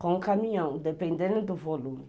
Com o caminhão, dependendo do volume.